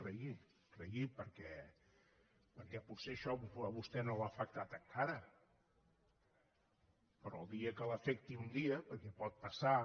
rigui rigui perquè potser això a vostè no l’ha afectat encara però el dia que l’afecti un dia perquè pot passar